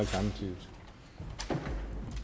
men